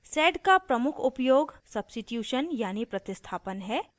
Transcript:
sed का प्रमुख उपयोग substitution यानी प्रतिस्थापन है